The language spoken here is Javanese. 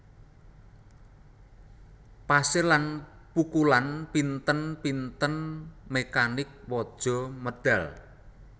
Pasir lan pukulan pinten pinten mekanik waja medhal